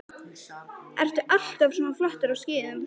Hödd: Ertu alltaf svona flottur á skíðum?